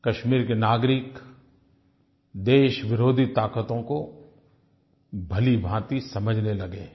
कश्मीर के नागरिक देशविरोधी ताक़तों को भलीभाँति समझने लगे हैं